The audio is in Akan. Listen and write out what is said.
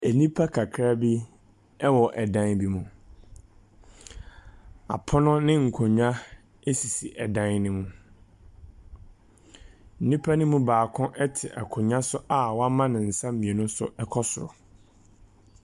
Nnipa kakraa bi wɔ dan bi mu. Apono ne nkonnwa esisi ɛdan no mu. Nnipa no mu baako te akonnwa so a wɔama ne nsa mmienu so kɔ soro.